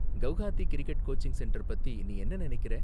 Guwahati cricket coaching centre பத்தி நீ என்ன நினைக்கிற?